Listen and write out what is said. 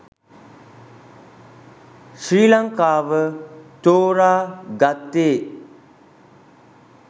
ශ්‍රී ලංකාව තෝරා ගත්තේ